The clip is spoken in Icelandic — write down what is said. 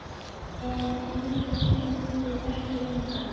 En sagnir gengu ekki lengra.